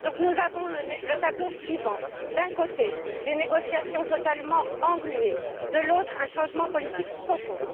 Nous avons donc le tableau suivant d'un côté, des négociations totalement engluées, de l'autre, un changement politique profond.